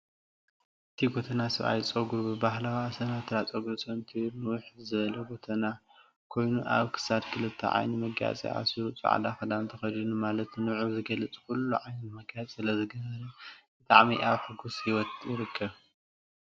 እቲ ጎተና ሰብኣይ ፀጉሩ ብባህላዊ ኣሰናትራ ፀጉሪ ሰንቲሩ ንውሕ ዝብለ ጎተና ኮይኑ ኣብ ክሳዱ ክልተ ዓይነት መጋየፂ ኣሲሩ ፃዕዳ ክዳን ተኸዲኑ ማለት ንዕኡ ዝገልፅ ኩሉ ዓይነት መጋየፂ ስለ ዝገበረ ብጣዕሚ ኣብ ሕጉስ ሂወት ይርከብ፡፡